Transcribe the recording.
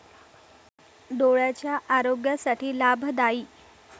डोळ्यांच्या आरोग्यासाठी लाभदायी